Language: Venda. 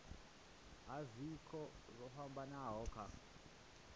ha zwiko zwo fhambanaho kha